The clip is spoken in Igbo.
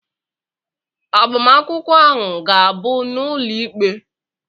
Agbamakwụkwọ ahụ ga-abụ n'ụlọ ikpe?